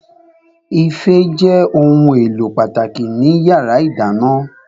Ife jẹ́ ohun èlò pàtàkì ní yàrá ìdáná